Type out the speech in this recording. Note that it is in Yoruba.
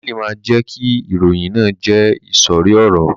Daniel ma jẹ ki ìròyìn náà jẹ isori ọrọ.